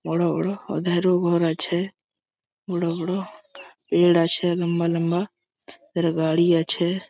বড়ো বড়ো ওধারও ঘর আছে। বড়ো বড়ো-ও পের আছে লম্বা লম্বা। আর গাড়ি আছে--